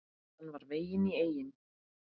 Hann var veginn í eynni.